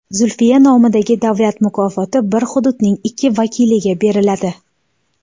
Zulfiya nomidagi Davlat mukofoti bir hududning ikki vakiliga beriladi.